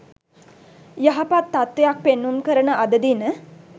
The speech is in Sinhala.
යහපත් තත්ත්වයක් පෙන්නුම් කරන අද දින